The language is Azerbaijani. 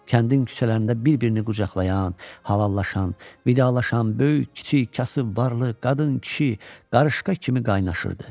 Kəndin küçələrində bir-birini qucaqlayan, halallaşan, vidalaşan, böyük, kiçik, kasıb, varlı, qadın, kişi, qarışqa kimi qaynaşırdı.